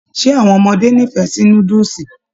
Ṣe àwọn ọmọdé n'ifẹ sí núdúsí?